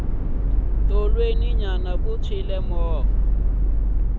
tolweni nyana ku tshwile movha